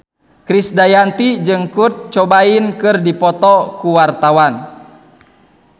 Krisdayanti jeung Kurt Cobain keur dipoto ku wartawan